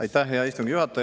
Aitäh, hea istungi juhataja!